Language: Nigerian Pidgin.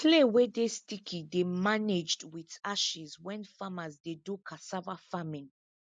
clay wey dey sticky dey managed with ashes when farmers dey do cassava farming